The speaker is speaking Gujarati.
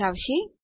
દર્શાવશે